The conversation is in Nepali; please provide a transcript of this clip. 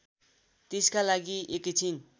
त्यसका लागि एकैछिन